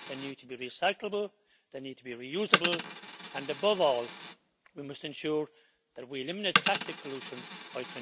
They need to be recyclable, they need to be reusable and, above all, we must ensure that we eliminate plastic pollution by